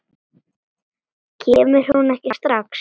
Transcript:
Kemur hún ekki strax?